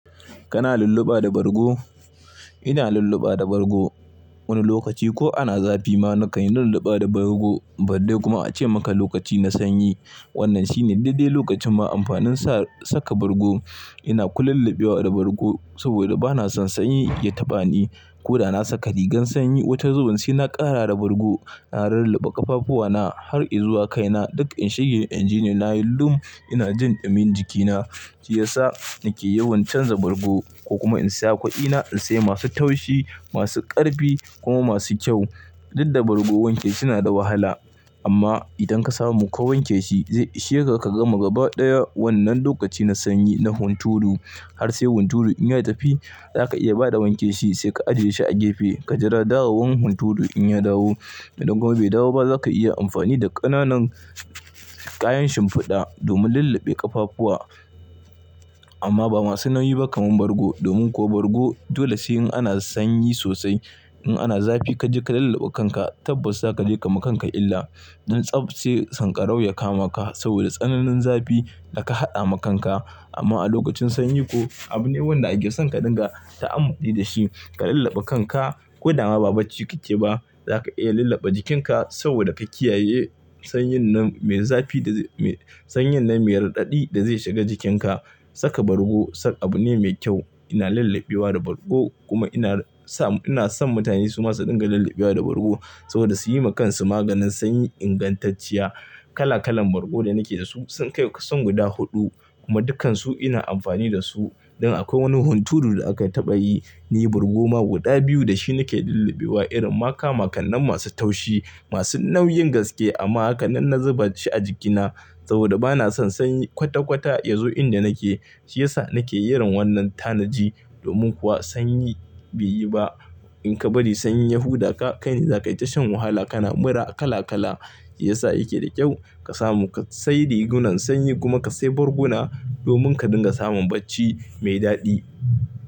Kana lulluɓa da bargo? Ina lulluɓa da bargo. Wani lokaci ko ana zafi ma na kan yi lulluɓa da bargo, balle kuma ace maka lokaci na sanyi. Wannan shine dai dai lokacin ma amfanin sa saka bargo. Ina kululluɓewa da bargo saboda bana son sanyi ya taɓa ni. Ko da na saka rigar sanyi, wata zubin sai na ƙara da bargo. Na lulluɓe ƙafafuwana har izuwa kaina. Duk in shige injini na yi lum, ina jin ɗumin jikina, shiyasa na ke yawan chanza bargo ko kuma in sa kudi na in sai masu taushi, masu ƙarfi kuma masu kyau. Didda wanke bargo suna da wahala, amma idan ka samu ka wanke shi, zai isheka ka gama gaba ɗaya wannan lokaci na sanyi na hunturu. Har sai hunturu in ya tafi, za ka iya bada wanke shi sai ka ajiye shi a gefe, ka jira dawowan hunturu in ya dawo. Idan kuma bai dawo ba, za ka iya amfani da ƙananan kayan shimfiɗa domin lulluɓe ƙafafuwa. Amma ba masu nauyi ba kaman bargo domin kuwa bargo dole sai in ana sanyi sosai. In ana zafi kaje ka lullube kanka tabbas zakaje kama kanka illa dan tsab sai tsankarau ya kama ka saboda tsananin zafi daka hada ma kanka amma a lokacin sanyi ko, abu ne wanda ake son ka dinga ta'amuli da shi. Ka lulluɓe kanka ko da ma ba bacci kike ba, za ka iya lulluɓe jikinka saboda ka kiyaye sanyin nan mai zafi da sanyin nan mai raɗaɗi da zai shiga jikinka. Saka bargo sak abu ne mai kyau. Ina lulluɓewa da bargo kuma ina sa, ina son mutane su ma su dinga lulluɓewa da bargo saboda su yi ma kansu maganin sanyi ingantacciya. Kala kalan bargo da nake da su sun kai kusan guda huɗu kuma dukkansu ina amfani da su. Don akwai wani hunturu da aka taɓa yi, ni bargoma guda biyu da shi nake lulluɓewa. Irin ma ka makanan masu taushi, masu nauyin gaske amma hakanan na zuba shi a jikina saboda bana son sanyi kwata kwata ya zo inda nake. Shi ya sa na ke iren wannan tanaji domin kuwa sanyi bai yi ba. In ka bari sanyi ya huda ka, kai ne za ka yi tashon wahala. Kana mura kala kala. Shi ya sa yake da kyau ka samu ka sai rigunan sanyi kuma ka sai barguna domin ka dinga samun bacci mai daɗi.